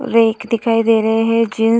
Rack दिखाई दे रहे हैं। जीन्स --